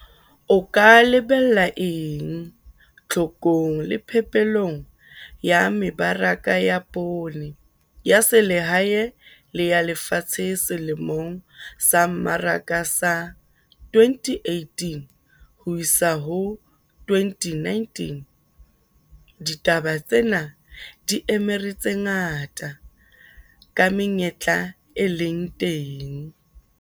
O KA LEBELLA ENG TLHOKONG LE PHEPELONG YA MEBARAKA YA POONE YA SELEHAE LE YA LEFATSHE SELEMONG SA MMARAKA SA 2018-2019? DITABA TSENA DI EMERE TSE NGATA KA MENYETLA E LENG TENG.